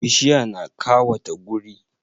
Bishiya na kawata guri